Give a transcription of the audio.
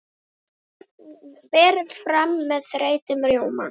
Berið fram með þeyttum rjóma.